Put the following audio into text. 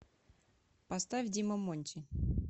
поставь дима монти